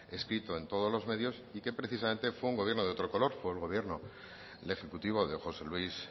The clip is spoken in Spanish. escrito en todos los medios y que precisamente fue un gobierno de otro color fue el ejecutivo de josé luis